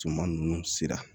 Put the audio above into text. Juma ninnu sira